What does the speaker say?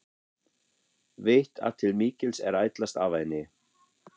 Veit að til mikils er ætlast af henni.